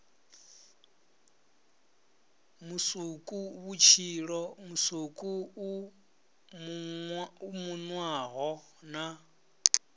musukuvhutshilo musuku u munwaho na